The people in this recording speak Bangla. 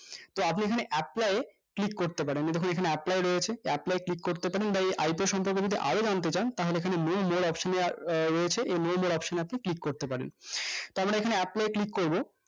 তো আপনি এইখানে আসলেই apply এ click করতে পারেন এইদেখুন এখানে apply রয়েছে apply এ click করতে পারেন বা এই তাহলে click করতে পারি তো আমরা এখানে apply এ click করবো